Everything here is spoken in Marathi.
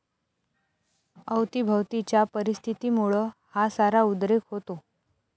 अवतीभवतीच्या परिस्थितीमुळं हा सारा उद्रेक होता.